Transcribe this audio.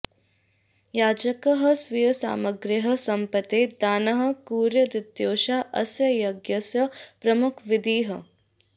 याजकः स्वीयसमग्रायाः सम्पत्तेः दानं कुर्यादित्येषा अस्य यज्ञस्य प्रमुखविधिः